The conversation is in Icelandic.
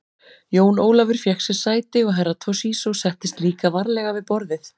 Jón Ólafur fékk sér sæti og Herra Toshizo settist líka varlega við borðið.